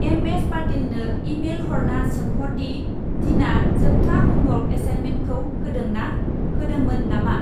MS. पाटिलनो email हरना सोंहर दि दिना जोबथा हमवर्क एसाइनमेन्टखौ होदोंना होदोंमोन नामा।